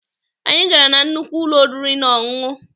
Anyị gara na nnukwu ụlọ oriri na ọṅụṅụ.